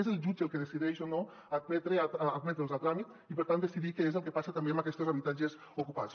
és el jutge el que decideix o no admetre’ls a tràmit i per tant decidir què és el que passa també amb aquestos habitatges ocupats